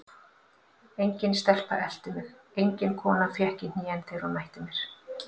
Engin stelpa elti mig, engin kona fékk í hnén þegar hún mætti mér.